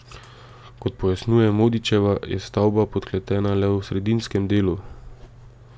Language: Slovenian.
Kot pojasnjuje Modičeva, je stavba podkletena le v sredinskem delu.